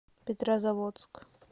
петрозаводск